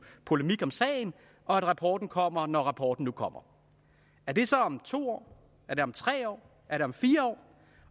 polemik om sagen og at rapporten kommer når rapporten nu kommer er det så om to år er det om tre år er det om fire år